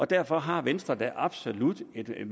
derfor har venstre da absolut et